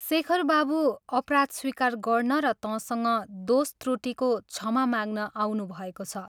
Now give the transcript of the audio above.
शेखर बाबू अपराध स्वीकार गर्न र तँसँग दोष त्रुटिको क्षमा माग्न आउनुभएको छ।